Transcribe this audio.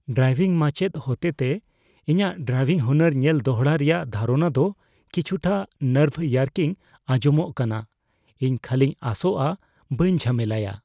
Driving ᱢᱟᱪᱮᱫ ᱦᱚᱛᱮᱛᱮ ᱤᱧᱟᱹᱜ ᱰᱨᱟᱭᱵᱷᱤᱝ ᱦᱩᱱᱟᱹᱨ ᱧᱮᱞ ᱫᱚᱲᱦᱟ ᱨᱮᱭᱟᱜ ᱫᱷᱟᱨᱚᱱᱟ ᱫᱚ ᱠᱤᱪᱷᱩᱴᱟ ᱱᱟᱨᱵᱷᱼᱭᱟᱨᱠᱤᱝ ᱟᱧᱡᱚᱢᱚᱜ ᱠᱟᱱᱟ ᱾ ᱤᱧ ᱠᱷᱟᱹᱞᱤᱧ ᱟᱸᱥᱚᱜᱼᱟ ᱵᱟᱹᱧ ᱡᱷᱟᱢᱮᱞᱟᱭᱟ ᱾